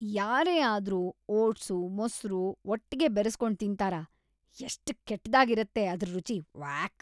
ಯಾರೇ ಆದ್ರೂ ಓಟ್ಸು, ಮೊಸ್ರು‌ ಒಟ್ಗೆ ಬೆರೆಸ್ಕೊಂಡ್ ತಿಂತಾರಾ?! ಎಷ್ಟ್‌ ಕೆಟ್ದಾಗಿರತ್ತೆ ಅದ್ರ್‌ ರುಚಿ..ವ್ಯಾಕ್!